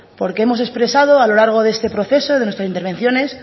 porque hemos expresado a lo largo de este proceso desde nuestras intervenciones